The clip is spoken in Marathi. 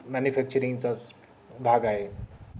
manufacturing चा भाग आहे